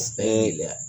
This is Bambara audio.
Ɛɛ